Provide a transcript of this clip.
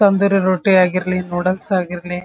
ತಂದಿರೋ ರೊಟ್ಟಿ ಆಗಿರ್ಲಿ ನೂಡಲ್ಸ್ ಆಗಿರ್ಲಿ --